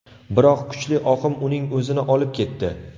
Biroq kuchli oqim uning o‘zini olib ketdi.